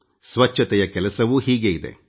ಸ್ವಚ್ಛತೆಯ ಕೆಲಸವೂ ಹೀಗೇ ಇದೆ